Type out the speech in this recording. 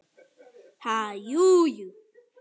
Ha, jú, jú